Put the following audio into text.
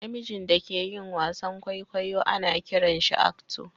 Na mijin da ke yin wasan kwaikwayo ana kiran shi "actor"